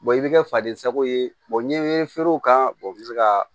i bɛ kɛ faden sago ye n ye feerew k'a bɛ se ka